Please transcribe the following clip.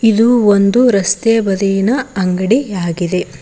ಇದು ಒಂದು ರಸ್ತೆ ಬದಿಗಿನ ಅಂಗಡಿಯಾಗಿದೆ.